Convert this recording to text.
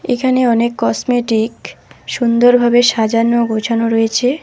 এখানে অনেক কসমেটিক সুন্দরভাবে সাজানো গোছানো রয়েছে।